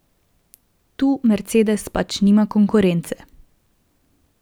Tu Mercedes pač nima konkurence.